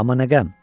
Amma nə qəm?